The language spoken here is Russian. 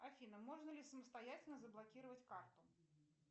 афина можно ли самостоятельно заблокировать карту